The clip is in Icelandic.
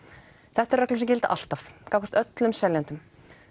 þetta eru reglur sem gilda alltaf gagnvart öllum seljendum